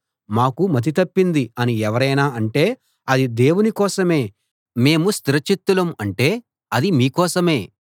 మాకు మతి తప్పింది అని ఎవరైనా అంటే అది దేవుని కోసమే మేము స్థిర చిత్తులం అంటే అది మీ కోసమే